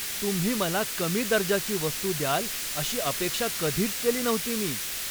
तुम्ही मला कमी दर्जाची वस्तू द्याल अशी अपेक्षा कधीच केली नव्हती मी.